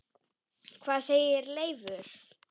Hvað segir Leifur?